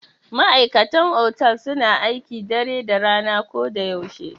Ma'aikatan otal suna aiki dare da rana ko da yaushe.